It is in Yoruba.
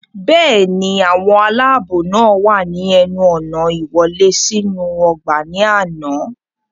bẹ́ẹ̀ni, àwọn aláàbò náà wà ní ẹnu ọ̀nà ìwọlé sínú ọgbà ní àná